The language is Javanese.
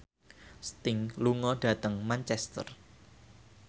Sting lunga dhateng Manchester